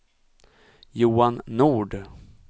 Johan Nord